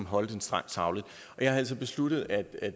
holde den strengt sagligt og jeg har altså besluttet at